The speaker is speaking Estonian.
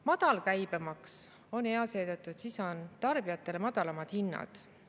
Madal käibemaks on hea seetõttu, et siis on tarbijatele madalamad hinnad.